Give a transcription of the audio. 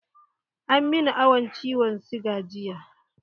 An min awan ciwon siga jiya.